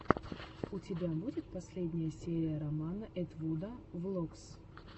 у тебя будет последняя серия романа этвуда влогс